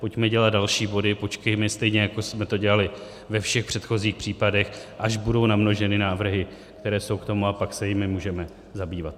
Pojďme dělat další body, počkejme, stejně jako jsme to dělali ve všech předchozích případech, až budou namnoženy návrhy, které jsou k tomu, a pak se jimi můžeme zabývat.